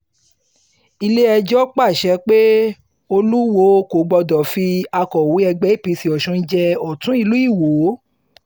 ilé-ẹjọ́ pàṣẹ pé olùwòo kò gbọdọ̀ fi akọ̀wé ẹgbẹ́ apc ọ̀sùn jẹ́ ọ̀tún ìlú iwọ